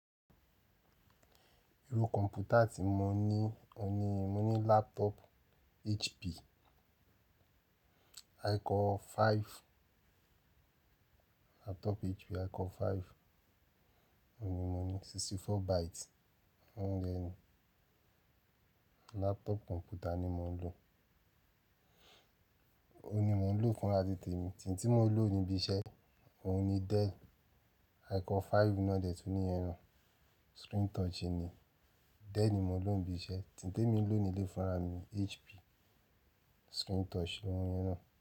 Irú kọ̀m̀pútà tí mo ní, o ní, mo ní laptop HP ìkọ́ five. Laptop HP ìkọ́ five, o ní, mo ní sixty four byte. Óún ni laptop kọ̀m̀pútà ni mò ń lò. O ní mò ń lò fúnra tí temi. Eyi tí mò ń lò ní ibi iṣẹ́, òun ni Dell ìkọ́ five model tun ní iyẹn naa screen touch ni. Dell ni mò ń lò ní ibi iṣẹ́. Eyi tí mò ń lò ní ilé fúnra mi, HP screen touch niyẹn naa.